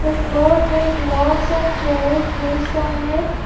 floor has lots of chairs placed on it.